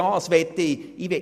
Das möchte ich.